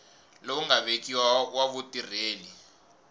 lowu nga vekiwa wa vutirheli